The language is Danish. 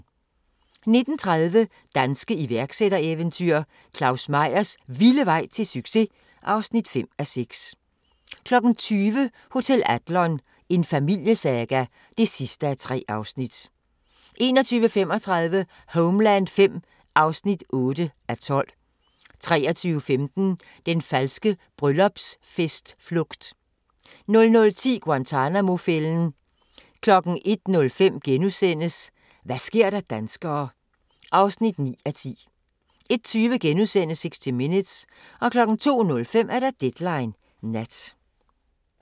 19:30: Danske iværksættereventyr – Claus Meyers vilde vej til succes! (5:6) 20:00: Hotel Adlon – en familiesaga (3:3) 21:35: Homeland V (8:12) 23:15: Den falske bryllupsfest-flugt 00:10: Guantanamo-fælden 01:05: Hva' sker der danskere (9:10)* 01:20: 60 Minutes * 02:05: Deadline Nat